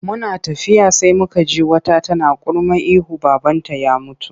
Muna tafiya sai muka ji wata tana kurma ihu babanta ya mutu.